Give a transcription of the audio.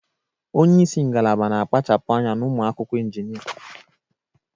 Onye isi ngalaba na-akpachapụ anya na ụmụ akwụkwọ injinia